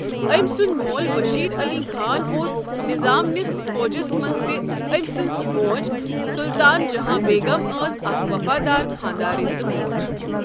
أمۍ سُنٛد مول بشیر علی خان اوس نظام نِس فوجَس منٛز تہٕ أمۍ سٕنٛز موج سلطان جہاں بیگم ٲس اکھ وفادار خانٛدارِنۍ تہٕ موج۔